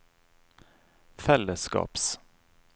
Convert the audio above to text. fellesskaps